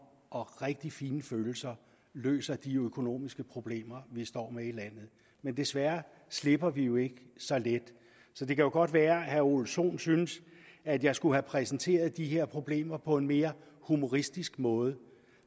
og rigtig fine følelser løste de økonomiske problemer vi står med i landet men desværre slipper vi jo ikke så let det kan godt være at herre ole sohn synes at jeg skulle have præsenteret de her problemer på en mere humoristisk måde